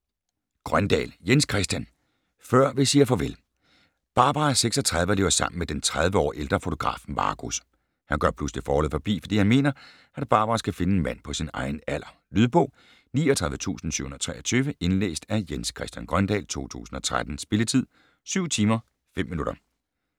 Grøndahl, Jens Christian: Før vi siger farvel Barbara er 36 og lever sammen med den tredive år ældre fotograf Marcus. Han gør pludselig forholdet forbi, fordi han mener, at Barbara skal finde en mand på sin egen alder. Lydbog 39723 Indlæst af Jens Christian Grøndahl, 2013. Spilletid: 7 timer, 5 minutter.